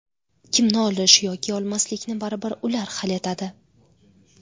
Kimni olish yoki olmaslikni baribir ular hal etadi.